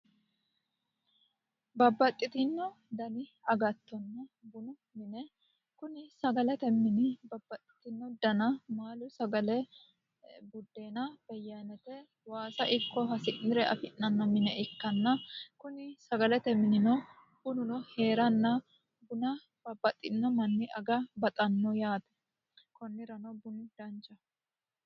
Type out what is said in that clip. babbaxxitinno dani agattonno bunu mine kuni sagalete mini babbaxxitino dana maalu sagale buddeena beyyaanete waasa ikko hasi'nire afi'nanno mine ikkanna kuni sagalete minino bununo heeranna buna babbaxxino manni aga baxanno yaate kunnirano bunu danchaho